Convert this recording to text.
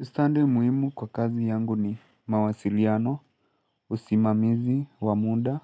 Ustadhi muhimu kwa kazi yangu ni mawasiliano, usimamizi, wamuda